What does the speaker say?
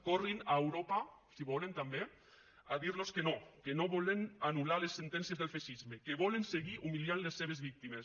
corrin a europa si volen també a dir los que no que no volen anul·lar les sentències del feixisme que volen seguir humiliant les seves víctimes